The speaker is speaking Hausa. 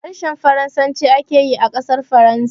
Harshen Faransaci ake yi a ƙasar Faransa.